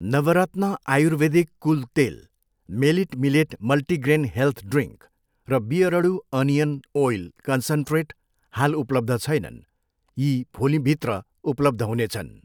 नवरत्न आयुर्वेदिक कुल तेल, मेलिट मिलेट मल्टिग्रेन हेल्थ ड्रिङ्क र बियरडु अनियन ओइल कन्सन्ट्रेट हाल उपलब्ध छैनन्, यी भोलिभित्र उपलब्ध हुनेछन्।